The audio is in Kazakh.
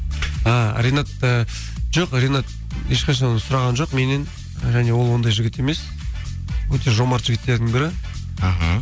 і ринат і жоқ ринат ешқашан оны сұраған жоқ меннен және ол ондай жігіт емес өте жомарт жігіттердің бірі іхі